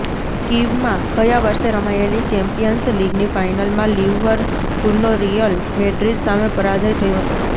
કીવમાં ગયા વર્ષે રમાયેલી ચેમ્પિયન્સ લીગની ફાઇનલમાં લિવરપુલનો રિયલ મેડ્રિડ સામે પરાજય થયો હતો